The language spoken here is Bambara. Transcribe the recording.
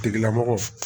Tigilamɔgɔ